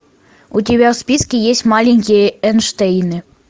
у тебя в списке есть маленькие эйнштейны